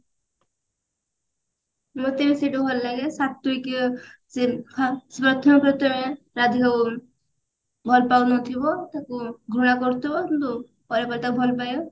ମୋତେ ବି ସେଇଟା ଭଲ ଲାଗେ ସ୍ଵାତିକି ସେ ହା ପ୍ରଥମେ ପ୍ରଥମେ ରାଧିକାକୁ ଭଲ ପାଉନଥିବ ତାକୁ ଘୃଣା କରୁଥିବ କିନ୍ତୁ ପରେ ପରେ ତାକୁ ଭଲ ପାଇବ